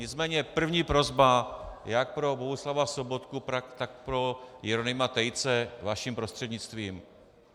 Nicméně první prosba jak pro Bohuslava Sobotku, tak pro Jeronýma Tejce vaším prostřednictvím.